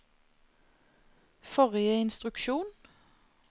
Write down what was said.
forrige instruksjon